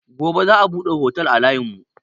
Gobe za a buɗe otel a layin mu